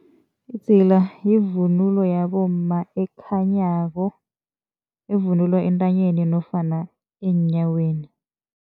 Idzila yivunulo yabomma ekhanyako evunulwa entanyeni nofana eenyaweni.